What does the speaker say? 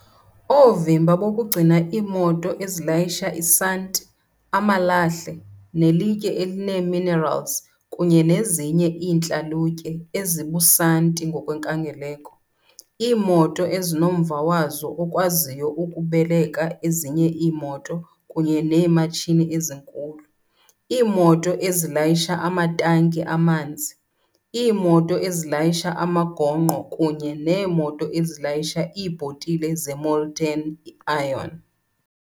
Oovimba bokugcina iimoto ezilayisha isanti, amalahle, nelitye elineeminerals kunye nezinye iintlalutye, ezibusanti ngokwenkangeleko, iimoto ezinomva wazo okwaziyo ukubeleka ezinye iimoto kunye neematshini ezinkulu, iimoto ezilayisha amatanki amanzi, iimoto ezilayisha amagongqo kunye neemoto ezilayisha iibhotile ze-molten iron.